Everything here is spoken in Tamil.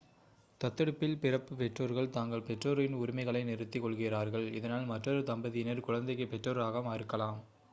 தத்தெடுப்பில் பிறப்பு பெற்றோர்கள் தங்கள் பெற்றோரின் உரிமைகளை நிறுத்திக் கொள்கிறார்கள் இதனால் மற்றொரு தம்பதியினர் குழந்தைக்கு பெற்றோராக இருக்கலாம்